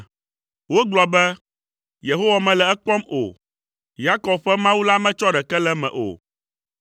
Wogblɔ be, “Yehowa mele ekpɔm o, Yakob ƒe Mawu la metsɔ ɖeke le eme o.”